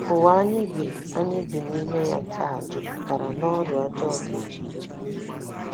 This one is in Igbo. Ụwa anyị bi anyị bi n’ime ya taa jupụtara n’ọrịa ọjọọ dị iche iche.